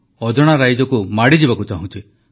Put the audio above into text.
ଅଜଣା ରାଇଜକୁ ମାଡ଼ିଯିବାକୁ ଚାହୁଁଛି